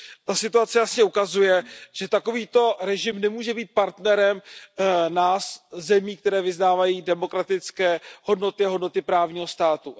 Ta situace jasně ukazuje, že takový režim nemůže být partnerem nás, zemí, které vyznávají demokratické hodnoty a hodnoty právního státu.